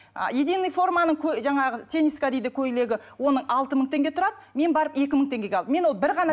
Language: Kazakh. единный форманың жаңағы тениска дейді көйлегі оның алты мың теңге тұрады мен барып екі мың теңгеге ал мен оны бір ғана